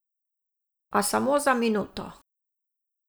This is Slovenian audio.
A samo za minuto.